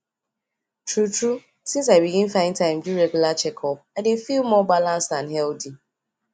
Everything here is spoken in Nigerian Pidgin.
true true since i begin find time do regular checkup i dey feel more balanced and healthy